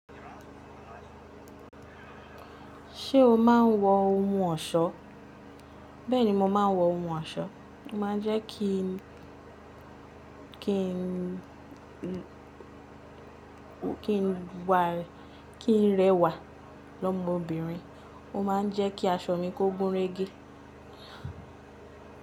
Ṣé o máa ń wọ ohun ọ̀ṣọ́? Bẹ́ẹ̀ni mo máa ń wọ ohun ọ̀ṣọ́. Ó máa ń jẹ́ ki n kí n, kí n, kí n rẹwà lọ́mọ obìnrin, ó máa ń jẹ́ kí aṣọ mi kó gúnrégé.